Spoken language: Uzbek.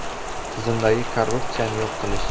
tizimdagi korruptsiyani yo‘q qilish.